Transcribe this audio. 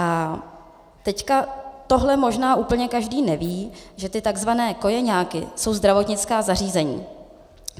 A teď, tohle možná úplně každý neví, že ty tzv. kojeňáky jsou zdravotnická zařízení.